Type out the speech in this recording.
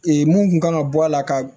mun kun kan ka bɔ a la ka